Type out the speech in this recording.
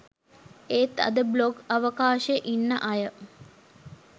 ඒත් අද බ්ලොග් අවකාශෙ ඉන්න අය